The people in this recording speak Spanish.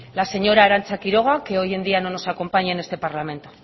la señora arantza quiroga que hoy en día no nos acompaña en este parlamento